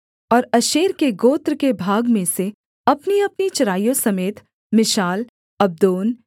और आशेर के गोत्र के भाग में से अपनीअपनी चराइयों समेत मिशाल अब्दोन